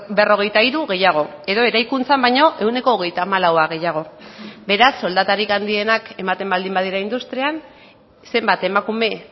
berrogeita hiru gehiago edo eraikuntzan baino ehuneko hogeita hamalau gehiago beraz soldatarik handienak ematen baldin badira industrian zenbat emakume